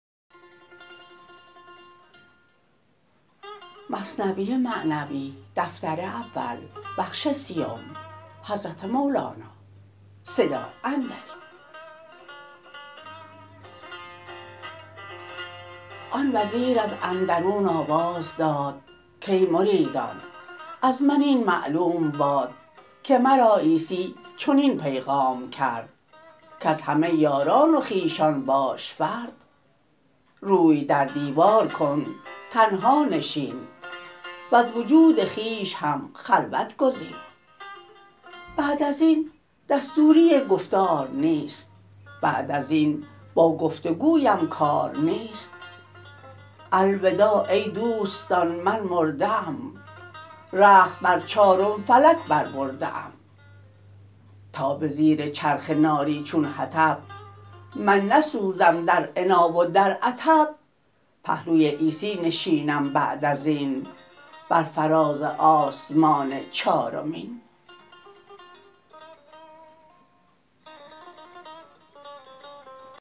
آن وزیر از اندرون آواز داد کای مریدان از من این معلوم باد که مرا عیسی چنین پیغام کرد کز همه یاران و خویشان باش فرد روی در دیوار کن تنها نشین وز وجود خویش هم خلوت گزین بعد ازین دستوری گفتار نیست بعد ازین با گفت و گویم کار نیست الوداع ای دوستان من مرده ام رخت بر چارم فلک بر برده ام تا به زیر چرخ ناری چون حطب من نسوزم در عنا و در عطب پهلوی عیسی نشینم بعد ازین بر فراز آسمان چارمین